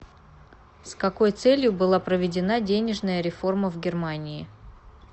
с какой целью была проведена денежная реформа в германии